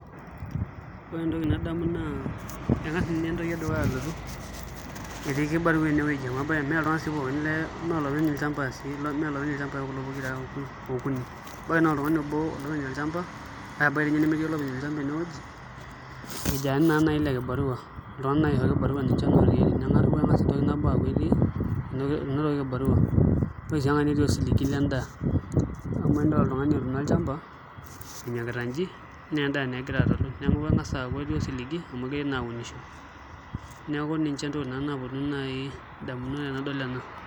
Ore entoki nadamu naa eng'as ninye entoki edukuya alotu etii kibarua enewueji mee iltung'anak sii pookin mee olopeny ilchambai kulo pokira okuni ebaiki naa oltung'ani obo olopeny olchamba kake ebaiki toi ninye nemetii olopeny olchamba enewueji irkijanani naa naai le kibarua ninche naa ootii ene neeku eng'as entoki nabo aaku etii, enotoki kibarua ore sii enkae netii osiligi lendaa amu enidol oltung'ani otuuno olchamba enyokita nji naa endaa naa egira atalu neeku eng'as aaku etii osiligi amu egirai naa aunisho, neeku ninche naa ntokitin naaponu indamunot tenidol enal.